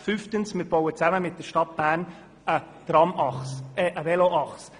Fünftes bauen wir zusammen mit der Stadt Bern eine Veloachse.